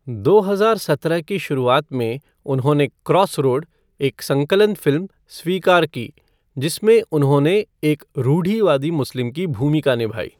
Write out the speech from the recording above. दो हजार सत्रह की शुरुआत में, उन्होंने क्रॉसरोड, एक संकलन फ़िल्म, स्वीकार की, जिसमें उन्होंने एक रूढ़िवादी मुस्लिम की भूमिका निभाई।